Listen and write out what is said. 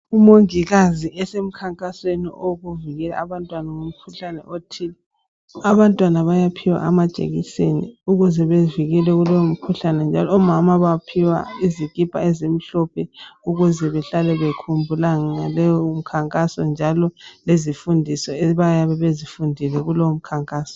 Umongikazi esemkhankasweni wokuvikela abantwana kumkhuhlane othile. Abantwana bayaphiwa amajekiseni ukuze bevikelwe kulowo mkhuhlane njalo omama baphiwa izikipa ezimhlophe ukuze behlale bekhumbula ngaleyo mkhankaso njalo lezifundiso abaye bezifundile kulowo mkhankaso.